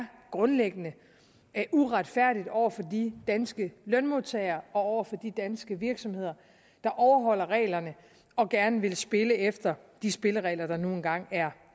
grundlæggende uretfærdigt over for de danske lønmodtagere og over for de danske virksomheder der overholder reglerne og gerne vil spille efter de spilleregler der nu engang er